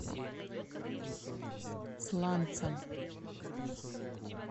сланцам